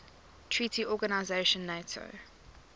treaty organization nato